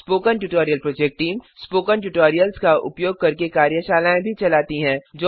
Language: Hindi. spoken tutorial project team spoken tutorials का उपयोग करके कार्यशालाएँ भी चलाते हैं